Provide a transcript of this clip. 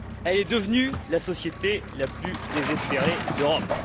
Elle est devenue la société la plus désespérée d'Europe.